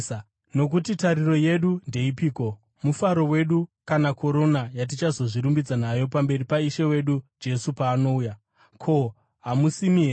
Nokuti tariro yedu ndeipiko, mufaro wedu kana korona yatichazvirumbidza nayo pamberi paIshe wedu Jesu paanouya? Ko, hamusimi here?